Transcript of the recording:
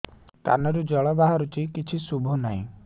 କାନରୁ ଜଳ ବାହାରୁଛି କିଛି ଶୁଭୁ ନାହିଁ